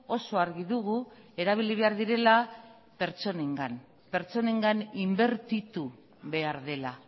oso argi dugu erabili behar direla pertsonengan pertsonengan inbertitu behar dela